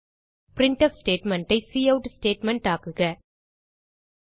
printf statement ஐ cout statement ஆக்குக